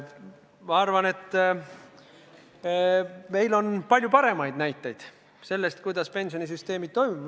Ma arvan, et meil on palju paremaid näiteid sellest, kuidas pensionisüsteemid toimivad.